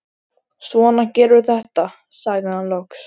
Svona gerum við þetta, sagði hann loks.